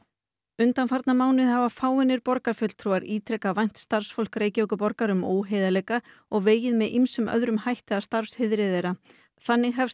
undanfarna mánuði hafa fáeinir borgarfulltrúar ítrekað vænt starfsfólk Reykjavíkurborgar um óheiðarleika og vegið með ýmsum öðrum hætti að starfsheiðri þeirra þannig hefst